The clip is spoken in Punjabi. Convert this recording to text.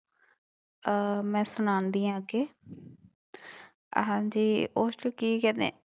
ਅਹ ਮੈਂ ਸੁਣਾਉਂਦੀ ਹਾਂ ਅੱਗੇ ਹਾਂਜੀ ਉਸ ਨੂੰ ਕੀ ਕਹਿੰਦੇ